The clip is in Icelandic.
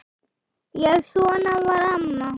Já, svona var amma.